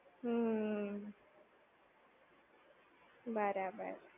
હમ્મ. બરાબર.